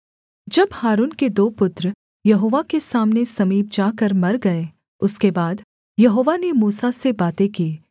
जब हारून के दो पुत्र यहोवा के सामने समीप जाकर मर गए उसके बाद यहोवा ने मूसा से बातें की